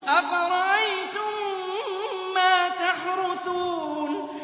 أَفَرَأَيْتُم مَّا تَحْرُثُونَ